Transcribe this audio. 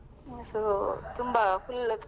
So ತುಂಬ full .